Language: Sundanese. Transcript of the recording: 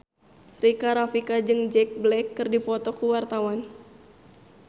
Rika Rafika jeung Jack Black keur dipoto ku wartawan